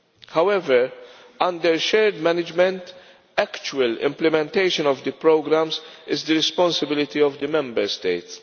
However, under shared management, actual implementation of the programmes is the responsibility of the Member States.